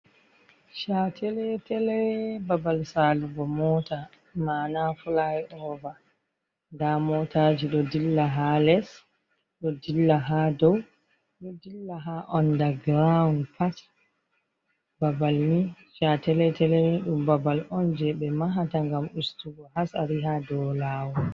Chateletele babal salugo mota, mana flyover, nda motaji ɗon dilla ha les ɗon dilla ha dow ɗon dilla ha onda ground pat, babal ni chateletele ni ɗum babal oun jei ɓe mahata ngam ustugo hasari haa dow lawol.